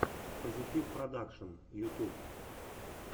позитивпродакшн ютюб